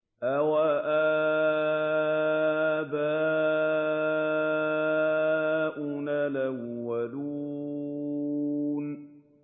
أَوَآبَاؤُنَا الْأَوَّلُونَ